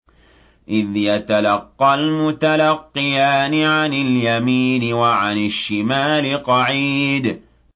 إِذْ يَتَلَقَّى الْمُتَلَقِّيَانِ عَنِ الْيَمِينِ وَعَنِ الشِّمَالِ قَعِيدٌ